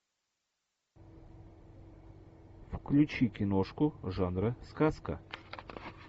включи киношку жанра сказка